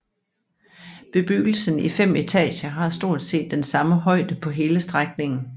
Bebyggelsen i fem etager har stort set den samme højde på hele strækningen